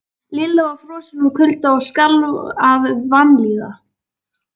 Lilla var frosin úr kulda og skalf af vanlíðan.